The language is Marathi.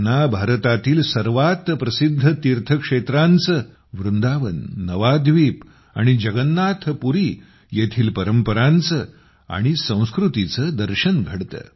त्यांना भारतातील सर्वात प्रसिद्ध तीर्थक्षेत्रांचे वृंदावन नवाद्वीप आणि जगन्नाथपुरी येथील परंपरांचे आणि संस्कृतीचे दर्शन घडते